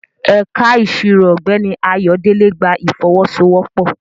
Ẹ̀ka Ìṣirò Ọ̀gbẹ́ni Ayodele gba ìfọwọ́sowọ́pọ̀